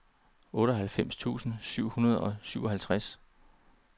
otteoghalvfems tusind syv hundrede og syvoghalvtreds